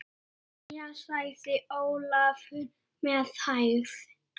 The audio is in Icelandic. Jæja, sagði Ólafur með hægð.